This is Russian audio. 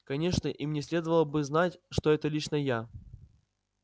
конечно им не следовало бы знать что это лично я